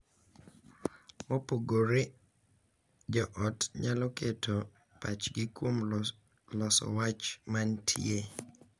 Mopogore, jo ot nyalo keto pachgi kuom loso wach ma nitie .